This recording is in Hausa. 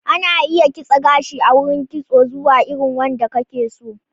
Ana iya kitse gashi a gurin kitso zuwa irin wanda kake so.